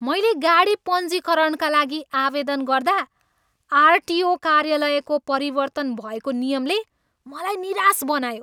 मैले गाडी पञ्जीकरणका लागि आवेदन गर्दा आरटिओ कार्यालयको परिवर्तन भएको नियमले मलाई निराश बनायो।